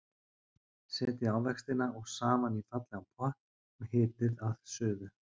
Setjið ávextina og safann í fallegan pott og hitið að suðu.